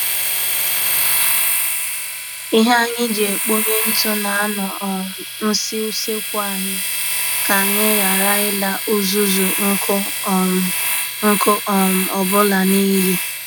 Ihe anyị ji ekponye ntụ na-anọ um nsi usekwu anyị, ka anyị ghara ila uzuzu nkụ um nkụ um ọ bụla n'iyi